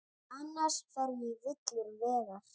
Annars fer ég villur vegar.